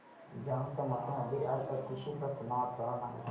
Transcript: जांब समर्थ मध्ये आज अतिशय प्रसन्न वातावरण आहे